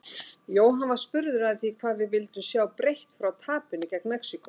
Jóhann var spurður að því hvað við vildum sjá breytt frá tapinu gegn Mexíkó?